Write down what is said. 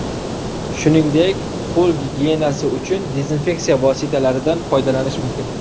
Shuningdek, qo‘l gigiyenasi uchun dezinfeksiya vositalaridan foydalanish mumkin.